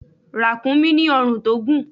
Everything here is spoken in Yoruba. Ràkúnmí ní ọ̀run tó gùn.